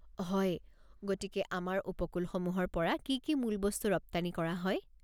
হয়! গতিকে আমাৰ উপকূলসমূহৰ পৰা কি কি মূল বস্তু ৰপ্তানি কৰা হয়?